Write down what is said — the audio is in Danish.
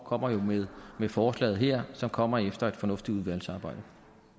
kommer jo med forslaget her som kommer efter et fornuftigt udvalgsarbejde